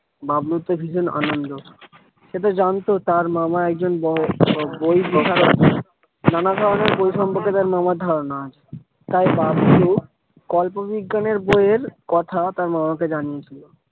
বাবলুর তো ভীষণ আনন্দ সে তো জানতো তার মামা একজন বড়ো নানা ধরণের বই সম্পর্কে তার মামার ধারণা আছে। তাই বাবলু গল্প বিজ্ঞানের বই এর কথা তার মামাকে জানিয়ে ছিল।